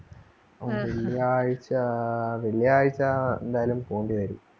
വെള്ളിയാഴ്ചാ വെള്ളിയാഴ്ചാ എന്തായാലും പോകണ്ടിവരും.